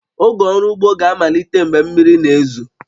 Oge ọrụ ugbo ga-amalite mgbe mmiri na-ezo